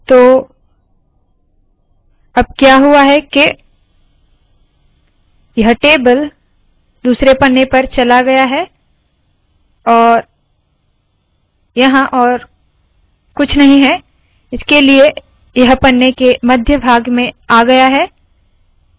तो अब क्या हुआ है के यह टेबल दूसरे पन्ने पर चला गया है और यहाँ और कुछ नहीं है इसलिए यह पन्ने के मध्य भाग में आ गया है